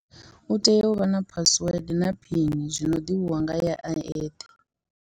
U tea uvha na password na phini zwino ḓivhiwa ngae a eṱhe.